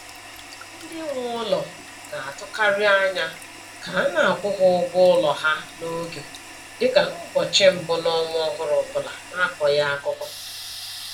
Ndị nwe ụlọ na-atụkarị anya ka a na-akwụ ha ụgwọ ụlọ ha n'oge, dị ka n'ụbọchị mbụ n'ọnwa ọhụrụ ọbụla na-akọghị akụkọ.